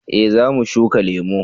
eh za mu shuka lemo